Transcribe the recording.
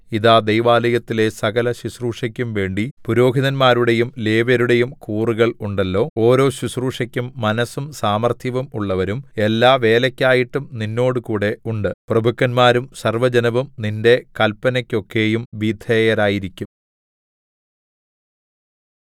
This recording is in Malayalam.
ഇതാ ദൈവാലയത്തിലെ സകലശുശ്രൂഷയ്ക്കും വേണ്ടി പുരോഹിതന്മാരുടെയും ലേവ്യരുടെയും കൂറുകൾ ഉണ്ടല്ലോ ഓരോ ശുശ്രൂഷയ്ക്കും മനസ്സും സാമർത്ഥ്യവും ഉള്ളവരും എല്ലാവേലയ്ക്കായിട്ടും നിന്നോട് കൂടെ ഉണ്ട് പ്രഭുക്കന്മാരും സർവ്വജനവും നിന്റെ കല്‍പ്പനക്കൊക്കെയും വിധേയരായിരിക്കും